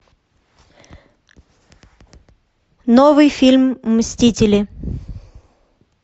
новый фильм мстители